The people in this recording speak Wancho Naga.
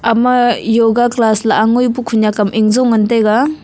ama yoga class lah ang ngoi pu khunak am injo ngan taga.